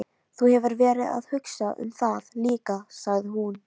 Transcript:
Þú hefur verið að hugsa um það líka, sagði hún.